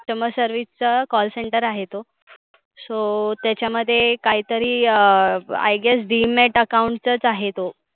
Customer service चा Call center आहे तो. so त्याच्या मध्ये काहितरी अं i guess demat account चच आहे तो.